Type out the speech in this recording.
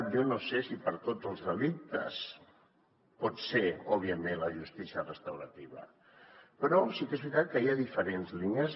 jo no sé si per a tots els delictes pot ser òbviament la justícia restaurativa però sí que és veritat que hi ha diferents línies